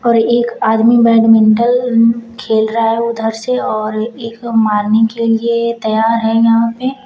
एक आदमी बैडमिंटल खेल रहा है उधर से और एक मारने के लिए तैयार है यहां पे।